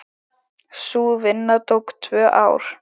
Sú vinna tók tvö ár.